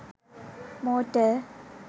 motor